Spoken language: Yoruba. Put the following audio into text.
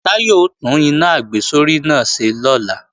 Táyọ̀ ó tún iná àgbésórí náà ṣe lọ́la